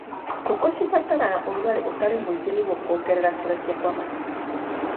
Ngũkũ cibataraga ũrugarĩ ũtarĩ mũingĩ nĩguo kuongerera kũrekia kwa matumbĩ.